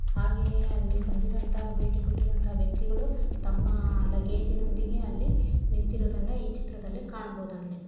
ಹಾಗೆಯೇ ಅಲ್ಲಿ ಬಂದಿರೋ ಅಂತ ಭೇಟಿ ಕೊಟ್ಟಿರೋ ಅಂತ ವ್ಯಕ್ತಿಗಳು ತಮ್ಮ ತಮ್ಮ ಲಗೇಜ್ ನೊಂದಿಗೆ ಅಲ್ಲಿ ನಿಂತಿರೋದನ್ನ ಈ ಚಿತ್ರದಲ್ಲಿ ಕಾಣಬಹುದಾಗಿದೆ.